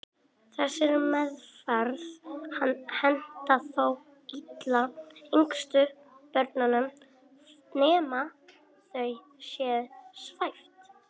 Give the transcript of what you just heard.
Þessar meðferðir henta þó illa yngstu börnunum nema þau séu svæfð.